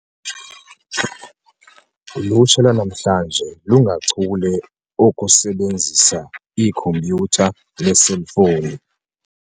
Ulutsha lwanamhla lungachule okusebenzisa ikhompyutha neeselfowuni.